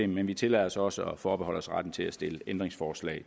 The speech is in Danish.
men vi tillader os også at forbeholde os retten til at stille ændringsforslag